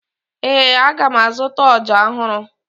Ee, aga m azụta ọja ọhụrụ